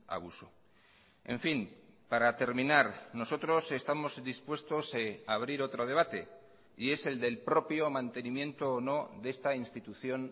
abuso en fin para terminar nosotros estamos dispuestos a abrir otro debate y es el del propio mantenimiento o no de esta institución